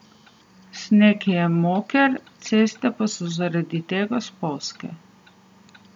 Sneg je moker, ceste pa so zaradi tega spolzke.